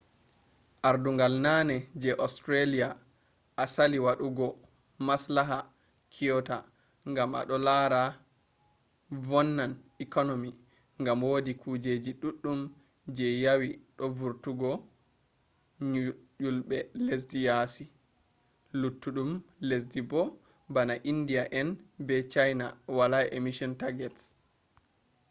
ardungol naane je austrialia osali wadugo maslaha kyoto ngam odo lara vonnan economy ngam wodi kujeji duddum je yewi do vurtungo nyjulbe lesdi yaasi luttudum lesdi bo bana india en be china wala emission targets